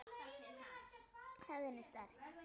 Hefðin er sterk.